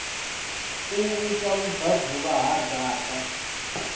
u vhusa vhubvaḓuvha ha dzaṱa